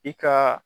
I ka